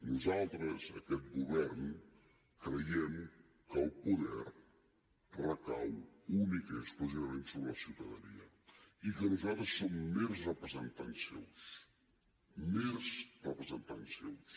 nosaltres aquest govern creiem que el poder recau únicament i exclusivament sobre la ciutadania i que nosaltres som mers representants seus mers representants seus